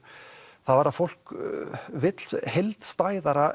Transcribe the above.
var að fólk vill heildstæðara